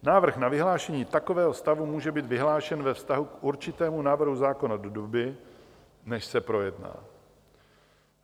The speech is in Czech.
Návrh na vyhlášení takového stavu může být vyhlášen ve vztahu k určitému návrhu zákona do doby, než se projedná.